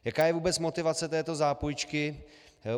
Jaká je vůbec motivace této zápůjčky?